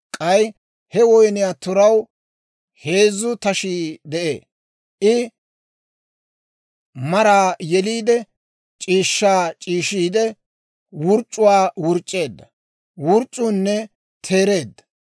K'ay he woyniyaa turaw heezzu tashii de'ee. I maraa yeliide, c'iishshaa c'iishiide, wurc'c'uwaa wurc'c'eedda; wurc'c'unne teereedda.